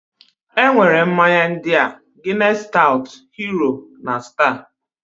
E nwere mmanya ndịaː Guinness Stout, Hero, na Star.